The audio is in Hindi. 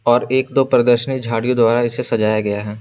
और एक दो प्रदर्शनी झाड़ियों द्वारा इसे सजाया गया है।